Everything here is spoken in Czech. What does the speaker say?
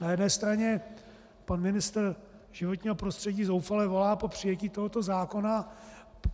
Na jedné straně pan ministr životního prostředí zoufale volá po přijetí tohoto zákona.